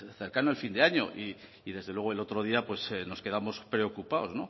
cercano al fin de año y desde luego el otro día nos quedamos preocupados